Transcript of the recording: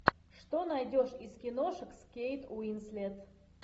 что найдешь из киношек с кейт уинслет